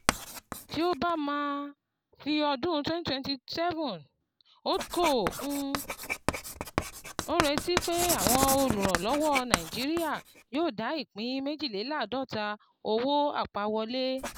Tí o bá máa fi ọdún twenty twenty seven ,Holdco n retí wípé àwọn olùrànlọwọ Nàìjíría yóò dá ìpín méjiléláàdọ́ta owó àpawọlé